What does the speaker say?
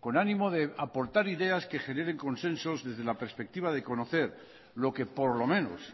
con ánimo de aportar ideas que generen consensos desde la perspectiva de conocer lo que por lo menos